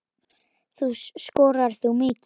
Skoraðir þú mikið?